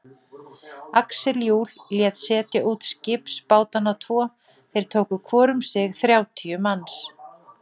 Axel Jul lét setja út skipsbátana tvo, þeir tóku hvor um sig þrjátíu manns.